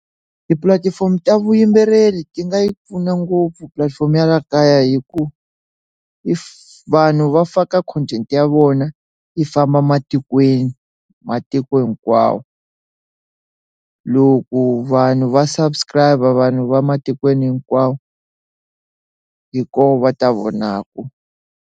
Tipulatifomo ta vuyimbeleri ti nga yi pfuna ngopfu pulatifomo ya laha kaya hi ku i vanhu va faka content ya vona yi famba matikweni matiko hinkwawo loku vanhu va subscribe vanhu va matikweni hinkwawo hi kona va ta vonaka.